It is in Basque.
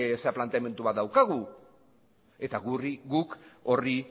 dudan planteamendu bat daukagu eta guk horri